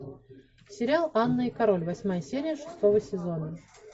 сериал анна и король восьмая серия шестого сезона